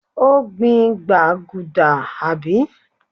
ó gbìn gbaguda, àbí?